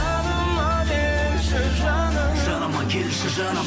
жаныма келші жаным жаныма келші жаным